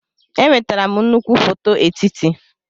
Enwetara m nnukwu foto etiti.